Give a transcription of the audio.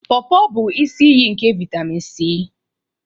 Porpor bụ isi iyi nke vitemin C.